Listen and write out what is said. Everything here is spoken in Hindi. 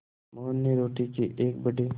मोहन ने रोटी के एक बड़े